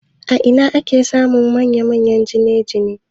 A ina ake samun manya-manyan gine-gine?